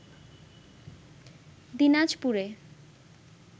দিনাজপুরে